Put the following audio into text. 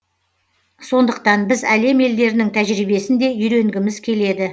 сондықтан біз әлем елдерінің тәжірибесін де үйренгіміз келеді